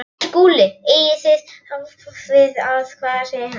SKÚLI: Eigið þér við hvar ég verði sýslumaður?